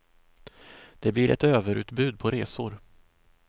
Det blir ett överutbud på resor.